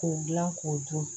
K'o dilan k'o dun